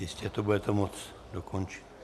Jistě to budete moct dokončit.